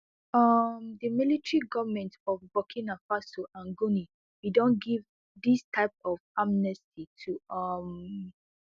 um di military goments of burkina faso and guninea bin don give dis type of amnesty too um